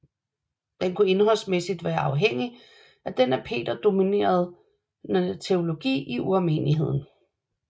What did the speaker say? Den kunne indholdsmæssigt være afhængig af den af Peter dominerende teologi i urmenigheden